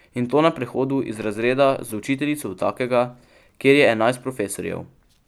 In to na prehodu iz razreda z učiteljico v takega, kjer je enajst profesorjev.